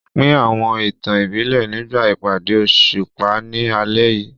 Pín àwọn ìtàn ìbílẹ̀ nígbà ìpàdé òṣùpá ní alẹ́ yìí.